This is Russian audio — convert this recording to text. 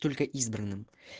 только избранным